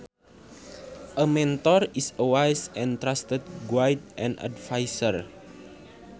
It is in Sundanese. A mentor is a wise and trusted guide and adviser